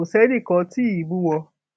kò sẹnì kan tí ì bú wọn